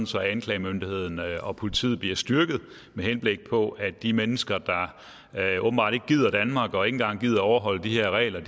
så anklagemyndigheden og politiet bliver styrket med henblik på at de mennesker der åbenbart ikke gider danmark og ikke engang gider overholde de her regler